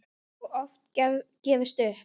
Og oft gefist upp.